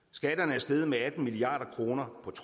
selv sidder med